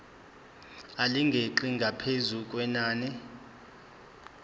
elingeqi ngaphezu kwenani